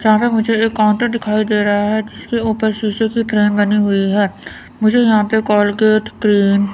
सामने मुझे एक काउंटर दिखाई दे रहा है जिसके ऊपर शीशे की ट्रेन बनी हुई है मुझे यहां पे कोलगेट क्रीम --